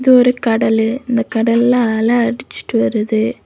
இது ஒரு கடலு இந்த கடல்ல அலை அடிச்சுட்டு வருது.